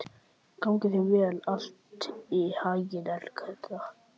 Gangi þér allt í haginn, Elektra.